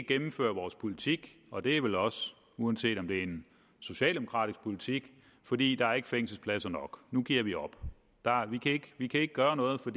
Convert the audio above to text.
gennemføre vores politik og det er vel også uanset om det er en socialdemokratisk politik fordi der ikke er fængselspladser nok nu giver vi op vi kan ikke gøre noget for